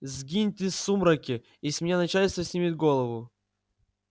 сгиньте в сумраке и с меня начальство снимет голову